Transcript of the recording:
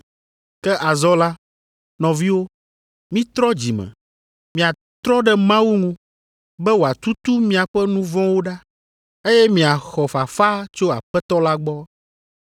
Ke azɔ la, nɔviwo, mitrɔ dzi me, miatrɔ ɖe Mawu ŋu, be wòatutu miaƒe nu vɔ̃wo ɖa, eye miaxɔ fafa tso aƒetɔ la gbɔ,